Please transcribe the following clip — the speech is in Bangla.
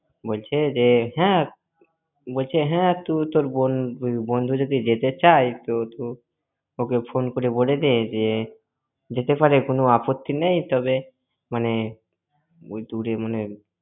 বলছে যে, হ্যাঁ~ বলছে হ্যাঁ, তুই তোর বন্ধু~ বন্ধু যদি যেতে চাই, তো~ তো ওকে ফোন করে বলে দে যে, যেতে পারে কোনও আপত্তি নেই তবে, মানে ওই~ দূরে মানে